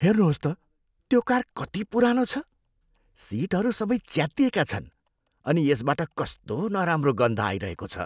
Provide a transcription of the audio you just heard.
हेर्नुहोस् त, त्यो कार कति पुरानो छ। सिटहरू सबै च्यातिएका छन् अनि यसबाट कस्तो नराम्रो गन्ध आइरहेको छ।